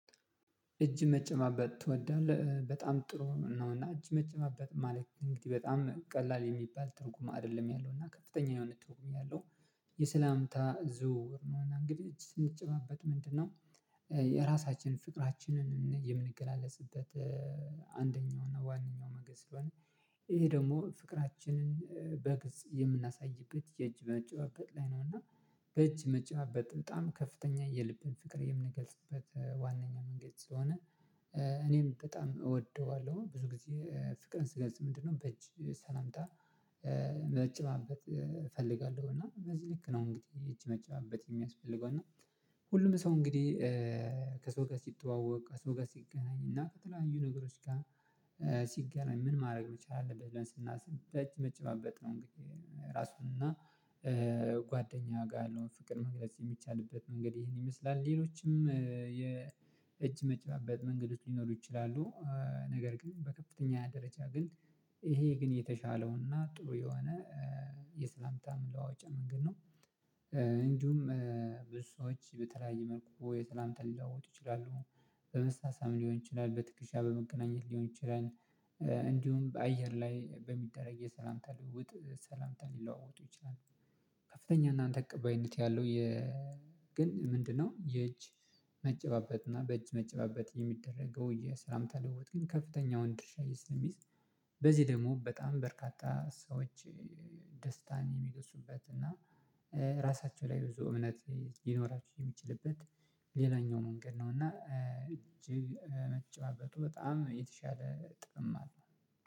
"እጅ መጨባበጥ ትወዳለህ?" በጣም ጥሩ ነው እና እጅ መጨባበጥ ማለት እንግዲህ በጣም ቀላል የሚባል ትርጉም አይደለም ያለው። እና ከፍተኛ የሆነ ትርጉም ነው ያለው። የሰላምታ ዝውውር ነው እና እንግዲህ ስንጨባበጥ ምንድነው የራሳችን ፍቅራችንን የምንገላለጽበት አንደኛው እና ዋናው መንገድ ስለሆነ ይሄ ደግሞ ፍቅራችንን በግልጽ የምናሳይበት የእጅ መጨባበጥ ላይ ነውና በእጅ መጨባበጥ በጣም ከፍተኛ የልብን ፍቅር የምንገልጽበት ዋናኛ መንገድ ስለሆነ። እኔም በጣም እወደዋለሁ። ብዙ ጊዜ ፍቅርን ስገልጽ ምንድነው በእጅ ሰላምታ መጨባበትጥ እፈልጋለሁ እና በዚህ ልክ ነው እንግዲህ እጅ መጨባበጥ የሚያስፈልገው። እና ሁሉም ሰው እንግዲህ ከሰው ጋር ሲተዋወቅ ከሰው ጋር ሲገናኝ እና ከተለያዩ ነገሮች ጋር ሲገናኝ ምን ማድረግ መቻል አለበት ስናስብ በእጅ መጨባበጥ ነው እንግዲህ ራሱን እና ጓደኛው ጋር ያለውን ፍቅር መግለጽ የሚቻልበት መንገድ ይሄን ይመስላል። ሌሎችም የእጅ መጨባበጥ መንገዶች ሊኖሩ ይችላሉ። ነገር ግን በከፍተኛ ደረጃ ግን ይሄ ግን የተሻለውና ጥሩ የሆነ የሰላምታ መለዋወጫ መንገድ ነው። እንዲሁም ብዙ ሰዎች በተለያየ መልኩ የተለያዩ ሰላምታ ሊለዋወጡ ይችላሉ። በመሳሳም ሊሆን ይችላል። በትከሻ በመገናኘት ሊሆን ይችላል። በአየር ላይ በሚደረግ የሰላምታ ልዉውጥ ሰላምታን ሊለዋወጡ ይችላል። ከፍተኛ እና ተቀባይነት ያለው የ ግን ምንድነው የእጅ መጨባበጥ እና በእጅ መጨባበጥ የሚደረገው የሰላምታ ልውውጥም ከፍተኛውን ድርሻ ስለሚይዝ በዚህ ደግሞ በጣም በርካታ ሰዎች ደስታን የሚወስዱበት እና ራሳቸው ላይ ብዙ እምነት ሊኖራችሁ የሚችልበት ሌላኛው መንገድ ነው። እና እጅግ መጨባበጡ በጣም የተሻለ ጥቅም አለው ማለት ነው።